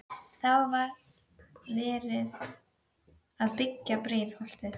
Þá var verið að byggja Breiðholtið.